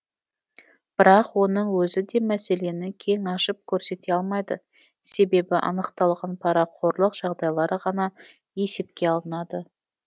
бірақ оның өзі де мәселені кең ашып көрсете алмайды себебі анықталған парақорлық жағдайлары ғана есепке алынады